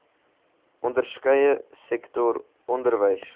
onderskeie sektor onderwys